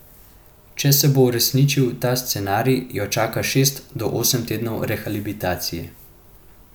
Če se bo uresničil ta scenarij, jo čaka šest do osem tednov rehabilitacije.